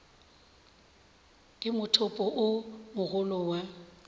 ke mothopo o mogolo wa